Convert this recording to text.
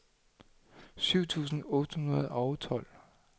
syv tusind otte hundrede og tolv